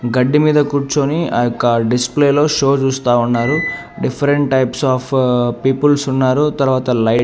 గడ్డి మీద కూర్చుని ఆ యొక్క డిస్ప్లేలో షో చూస్తా ఉన్నారు డిఫరెంట్ టైప్స్ ఆఫ్ పీపుల్స్ ఉన్నారు తర్వాత లైట్ --